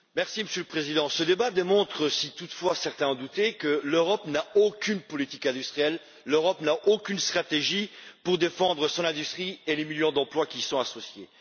Monsieur le Président, ce débat démontre si, toutefois, certains en doutaient, que l'Europe n'a aucune politique industrielle, l'Europe n'a aucune stratégie pour défendre son industrie et les millions d'emplois qui y sont associés.